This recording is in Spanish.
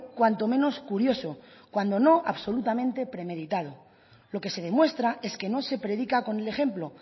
cuanto menos curioso cuando no absolutamente premeditado lo que se demuestra es que no se predica con el ejemplo